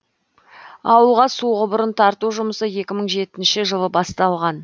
ауылға су құбырын тарту жұмысы екі мың жетінші жылы басталған